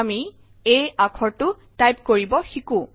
আমি a আখৰটো type কৰিব শিকো